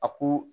A ko